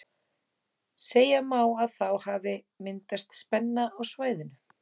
Segja má að þá þegar hafi myndast spenna á svæðinu.